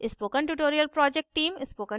spoken tutorial project team